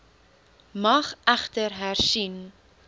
mag egter hersien